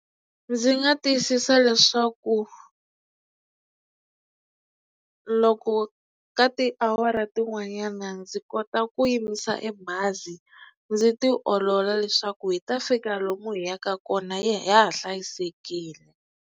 Ndzi nga tiyisisa leswaku loko ka tiawara tin'wanyana ndzi kota ku yimisa e bazi ndzi ti olola leswaku hi ta fika lomu hi yaka kona ha ha hlayisekile.